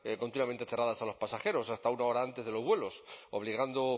continuamente cerradas a los pasajeros hasta una hora antes de los vuelos obligando